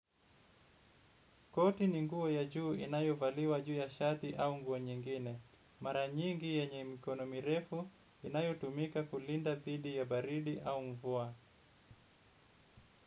Koti, ni nguo ya juu inayovaliwa juu ya shati au nguo nyingine. Mara nyingi yenye mkono mirefu inayo tumika kulinda thidi ya baridi au mvua.